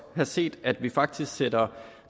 have set at vi faktisk sætter